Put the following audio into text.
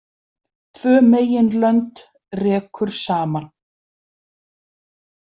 Tvö meginlönd rekur saman.